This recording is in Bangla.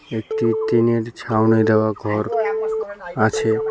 একটি টিনের ছাউনি দেওয়া ঘর আছে।